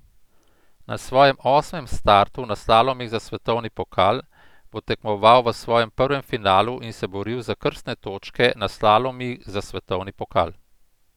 Na svojem osmem startu na slalomih za svetovni pokal bo tekmoval v svojem prvem finalu in se boril za krstne točke na slalomih za svetovni pokal.